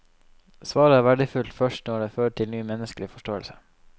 Svaret er verdifullt først når det fører til ny menneskelig forståelse.